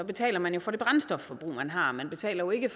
betaler man jo for det brændstofforbrug man har man betaler jo ikke